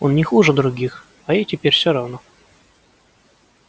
он не хуже других а ей теперь всё равно